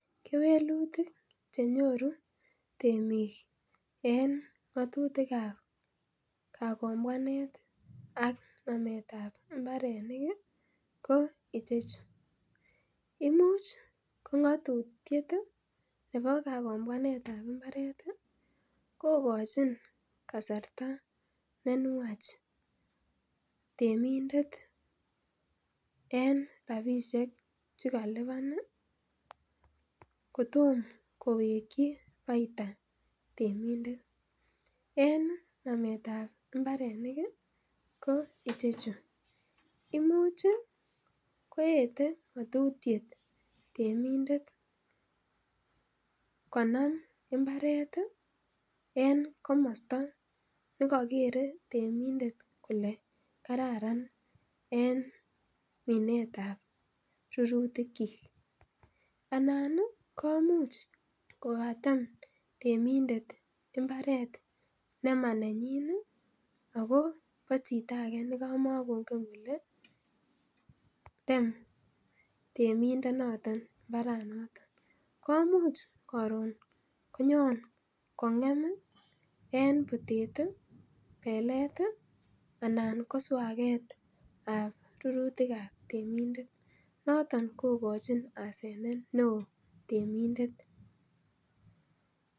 Kewelutik che nyoru temik en ng'atutik ab kagombwanet ak namet ab mbarenik ko icheju: imuch ko ng'atutiet nebo kagombwanet ab mbaret kogochin kasarta ne nwach temindet en rabishek che kalipan kotom koweki faida temindet. En nametab mmbaret ko icheju: imuch koyete ng'atutiet temindet konam mbaret en komosta ne kokere temindet kole kararan en minet ab rurutikyik anan komuch kogatem temindet mbaret nemanenyin anan bo chito age nekamakongen kole tem temindonoto mbaranoto. KOmuch koron konyon kong'em en butet, belet anan en swaget ab rurutik ab temindet noton kogochin hasanet neo temindet.